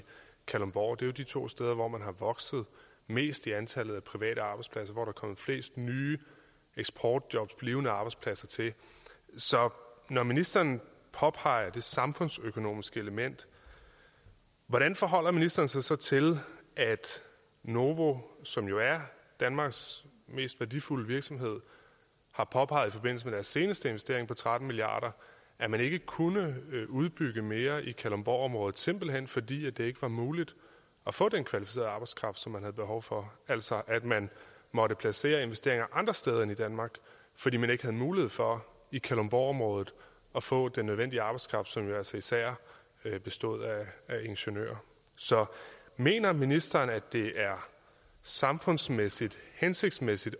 kalundborg det er jo de to steder hvor man er vokset mest i antallet af private arbejdspladser hvor der er kommet flest nye eksportjobs til blivende arbejdspladser til så når ministeren påpeger det samfundsøkonomiske element hvordan forholder ministeren sig så til at novo som jo er danmarks mest værdifulde virksomhed har påpeget i forbindelse med deres seneste investering på tretten milliard kr at man ikke kunne udbygge mere i kalundborgområdet simpelt hen fordi det ikke var muligt at få den kvalificerede arbejdskraft som man havde behov for altså at man måtte placere investeringer andre steder end i danmark fordi man ikke havde mulighed for i kalundborgområdet at få den nødvendige arbejdskraft som jo altså især bestod af ingeniører mener ministeren at det er samfundsmæssigt hensigtsmæssigt